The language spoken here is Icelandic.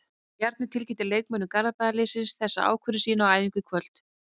Bjarni tilkynnti leikmönnum Garðabæjarliðsins þessa ákvörðun sína á æfingu í kvöld.